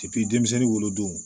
denmisɛnnin wolo don